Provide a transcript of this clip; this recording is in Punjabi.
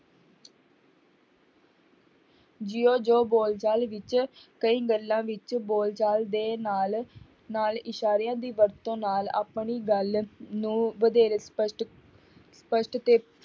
ਜਿਉਂ ਜਿਉੁਂ ਬੋਲਚਾਲ ਵਿੱਚ ਕਈ ਗੱਲਾਂ ਵਿੱਚ ਬੋਲਚਾਲ ਦੇ ਨਾਲ ਨਾਲ ਇਸ਼ਾਰਿਆਂ ਦੀ ਵਰਤੋਂ ਨਾਲ ਆਪਣੀ ਗੱਲ ਨੂੰ ਵਧੇਰੇ ਸਪਸ਼ਟ, ਸਪਸ਼ਟ ਤੇ